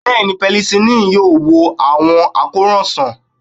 Bẹẹni, penicillin yoo wo awọn akoran sàn.